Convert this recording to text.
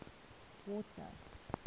water